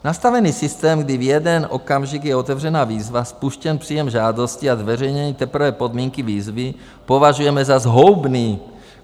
Nastavený systém, kdy v jeden okamžik je otevřena výzva, spuštěn příjem žádostí a zveřejnění teprve podmínek výzvy, považujeme za zhoubný.